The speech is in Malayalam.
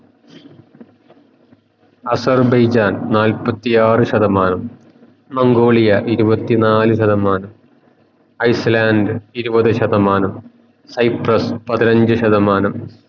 അസർബൈജാൻ നാല്പതിയാർ ശതമാനം മംഗോളിയ ഇരുവത്തിനാല് ശതമാനം ഐസ്ലാൻഡ് ഇരുവത് ശതമാനം പതിനഞ്ചു ശതമാനം